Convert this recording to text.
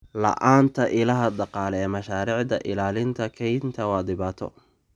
La'aanta ilaha dhaqaale ee mashaariicda ilaalinta kaynta waa dhibaato.